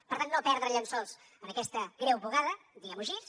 per tant no perdre llençols en aquesta greu bugada diguem ho així